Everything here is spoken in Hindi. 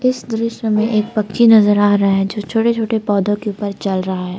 इस दृश्य में एक पक्षी नजर आ रहा है जो छोटे छोटे पौधों के ऊपर चल रहा है।